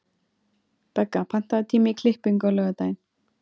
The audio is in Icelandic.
Begga, pantaðu tíma í klippingu á laugardaginn.